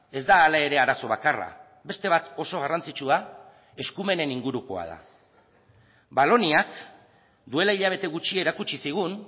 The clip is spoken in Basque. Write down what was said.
ez da hala ere arazo bakarra beste bat oso garrantzitsua eskumenen ingurukoa da valoniak duela hilabete gutxi erakutsi zigun